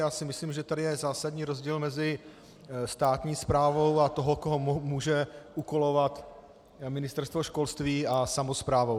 Já si myslím, že tady je zásadní rozdíl mezi státní správou a tím, koho může úkolovat Ministerstvo školství a samosprávou.